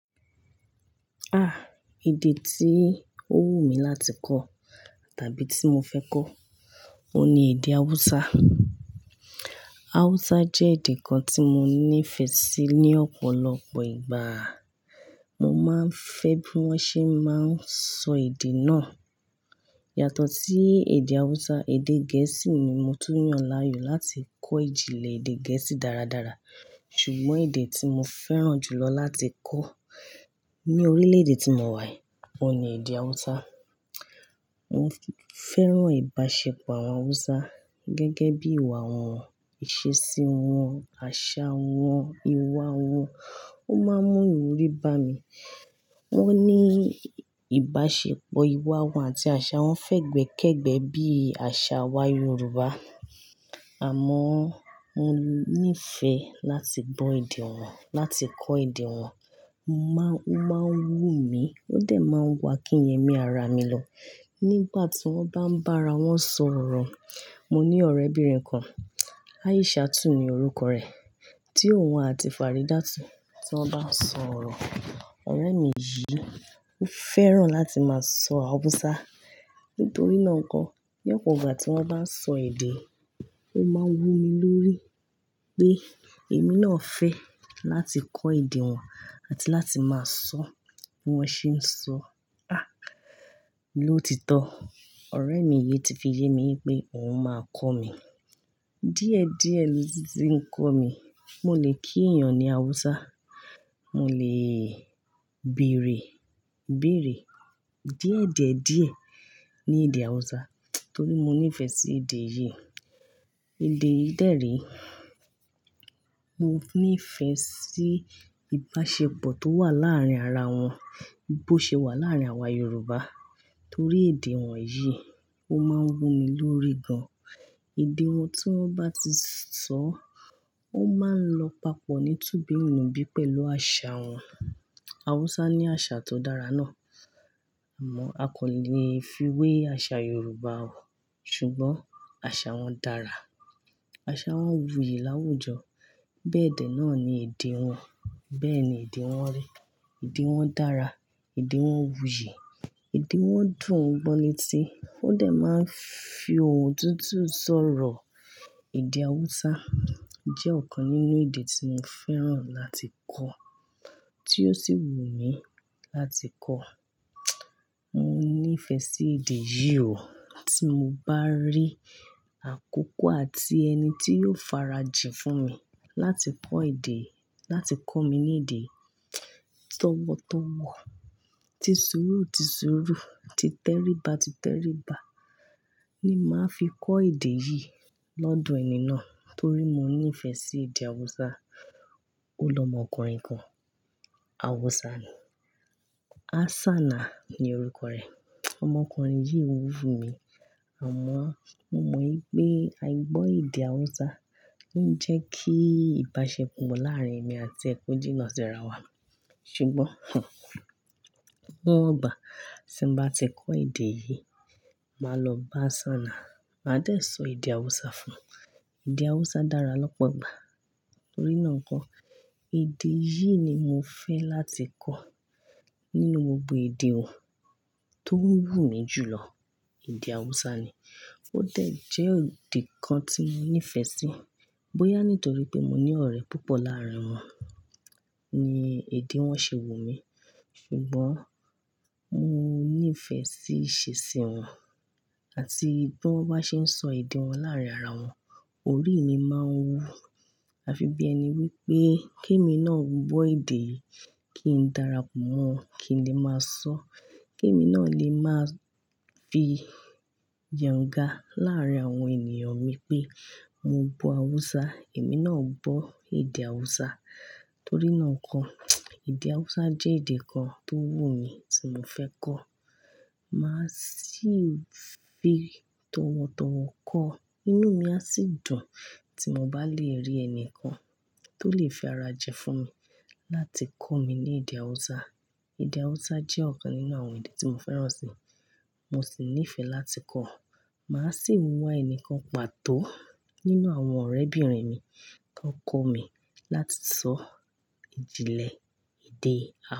Èdè tí ó wù mí láti kọ tàbí tí mo fẹ́ kọ, òun ni èdè Hausa. Hausa jẹ́ èdè kan tí mo nífẹ̀ẹ́ sí ní ọ̀pọ̀lọpọ̀ ìgbà. Mo máa ń fẹ́ bí wọ́n ṣé máa ń sọ èdè náà. Yàtọ̀ sí èdè Hausa, èdè Gẹ̀ẹ́sì ni mo tún yàn láàyò láti kọ ìjìnlẹ̀ èdè Gẹ̀ẹ́sì dáradára. Ṣùgbọ́n èdè tí mo fẹ́ràn jùlọ láti kọ ní orílẹ̀-èdè tí mo wà yìí, òun ni èdè Hausa. Mo fẹ́ràn ìbáṣepọ̀ àwọn Hausa gẹ́gẹ́ bí ìwà wọn, ìṣesí wọn, àṣà wọn, ìwà wọn, ó máa ń mú ìwúrí bá mi. Wọ́n ní ìbáṣepọ̀, ìwà wọn àti àṣà wọn fẹ́gbẹ́kẹ́gbẹ́ bí àṣà wa Yorùbá. Àmọ́ọ mo nífẹ̀ láti gbọ́ èdè wọn, láti kọ èdè wọn. O máa ń wù mí, ó dẹ̀ máa wo akínyẹmí ara mi lọ nígbà tí wọ́n bá ń bá ara wọn sọ̀rọ̀. Mo ní ọ̀rẹ́bìnrin kan, Aishatù ni orúkọ rẹ̀, tí òun àti Faridatu, tí wọ́n bá ń sọ̀rọ̀. Ọ̀rẹ́ mi yìí ó fẹ́ràn láti máa sọ Hausa. Nítorí náà nko, ní ọ̀pọ̀ ìgbà tí wọ́n bá ń sọ èdè, ó máa ń wù mí lórí pé èmi náà fẹ́ láti kọ èdè wọn àti láti máa sọ bí wọ́n ṣe ń sọ. Lóòtítọ́, ọ̀rẹ́ mi yìí ti fi yé mi pé òun máa kọ́ mi. Díẹ̀ díẹ̀ ni titi ń kọ́ mi, mo lè kí ènìyàn ní Hausa, mo lè bèrè ìbéèrè díẹ̀ díẹ̀ díẹ̀ ní èdè Hausa torí mo nífẹ sí èdè yìí. Èdè yìí dere. Mo nífẹ sí ìbáṣepọ̀ tó wà láàárín ara wọn bí ó ṣe wà láàárín àwa Yorùbá torí èdè wọn yìí ń wù mí lórí gan. Èdè wọn tí wọ́n bá ti sọ, ó máa ń lọ papọ̀ ní tùbínùbí pẹ̀lú àṣà wọn. Hausa ní àṣà tó dára náà. Àmọ́ a kò lè fi wé àṣà Yorùbá. Ṣùgbọ́n àṣà wọn dára. Àṣà wọn wuyì láwùjọ. Bẹ́ẹ̀dẹ́ náà ni èdè wọn, bẹ́ẹ̀ ni èdè wọn rí. Èdè wọn dára, èdè wọn wuyì, èdè wọn dùn gbọ́ létí, wọ́n dẹ̀ máa ń fi ohùn tútù sọ̀rọ̀. Èdè Hausa jẹ́ ọ̀kan nínú èdè tí mo fẹ́ràn láti kọ, tí ó sì wù mí láti kọ. Mo nífẹ sí èdè yìí. Tí mo bá rí àkókò àti ẹni tí yóò farajìn fún mi láti kọ èdè, láti kọ́ mi ní èdè, tọ̀wọ̀tọ̀wọ̀, tìsùrú tìsùrú, títẹríba títẹríba ni màá fi kọ́ èdè yìí lọ́dọ̀ ẹni náà torí mo nífẹ sí èdè Hausa. Ó lọmọkùnrin kan, Hausa ni. Hassanah ni orúkọ rẹ̀. Ọmọkùnrin yìí wù mí, àmọ́ mo mọ̀ wípé aìgbọ́ èdè Hausa ò jẹ́ kí ìbáṣepọ̀ láàrín èmi àti e ko jíná síra wà. Ṣùgbọ́n nígbà tí n bá ti kọ́ èdè yìí, màá lọ bá Hassanah, màá dẹ̀ sọ èdè Hausa fún. Èdè Hausa dára lọ́pọ̀gbà. Torí náà nko, èdè yìí ni mo fẹ́ láti kọ nínú gbogbo èdè tó wùmí jù lọ, èdè Hausa ni. Ó dẹ̀ jẹ́ èdè kan tí mo nífẹ sí. Bóyá nítorí pé mo ní ọ̀rẹ́ púpọ̀ láàrín wọn ni èdè wọn ṣe wù mí. Mo nífẹ sí ìṣesí wọn, àti bí wọn bá ṣe ń sọ èdè wọn láàrín ara wọn, orí mi máa ń wú afi bí ẹni wí pé kí èmi náà gbọ́ èdè yìí, kín dára pọ̀ mọ́ wọn, kí n lè máa sọ. Kí èmi náà lè máa fi yanga láàrín àwọn ènìyàn mi pé mo gbọ́ Hausa, èmi náà gbọ́ èdè Hausa. Torí náà nko, èdè Hausa jẹ́ èdè kan tó wù mí tí mo fẹ́ kọ. Màá sì fi tọ̀wọ̀tọ̀wọ̀ kọ́, inú mi á sì dùn tí mo bá lè rí ẹni kan tó lè fi ara ji fún mi láti kọ́ mi ní èdè Hausa. Èdè Hausa jẹ́ ọ̀kan nínú àwọn èdè tí mo fẹ́ràn sì, mo sì nífẹ láti kọ. Màá sì mu ẹnikan pàtó nínú àwọn ọ̀rẹ́bìnrin mi kan kọ́ mi láti sọ ìjìnlẹ̀ èdè Hausa.